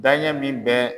Daɲɛ min bɛ